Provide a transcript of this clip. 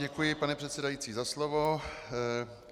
Děkuji, pane předsedající, za slovo.